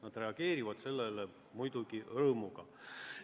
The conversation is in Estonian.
Nad reageerivad sellele muidugi rõõmuga.